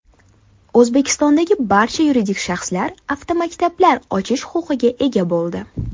O‘zbekistonda barcha yuridik shaxslar avtomaktablar ochish huquqiga ega bo‘ldi.